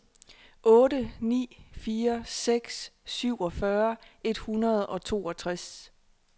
otte ni fire seks syvogfyrre et hundrede og toogtres